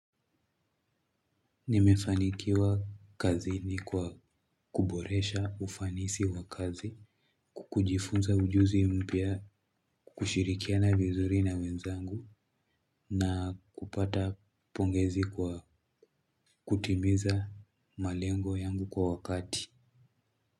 Nimefanikiwa kazini kwa kuboresha ufanisi wa kazi. Ku kujifunza ujuzi mpya kushirikiana vizuri na wenzangu na kupata pongezi kwa kutimiza malengo yangu kwa wakati.